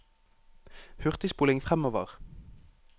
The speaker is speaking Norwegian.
hurtigspoling fremover